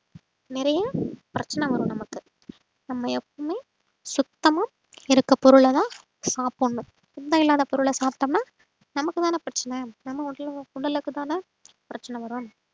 நிறைய பிரச்சனை வரும் நமக்கு நம்ம எப்பவுமே சுத்தமா இருக்க பொருளைதான் சாப்பிடணும் சுத்தம் இல்லாத பொருளை சாப்பிட்டோம்ன்னா நமக்கு தானே பிரச்சனை நம்ம உடலு~ உடலுக்குதானே பிரச்சனை வரும்.